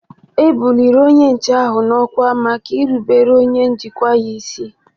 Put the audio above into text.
E buliri onye nche ahụ n'ọkwá maka irubere onye njikwa ya isi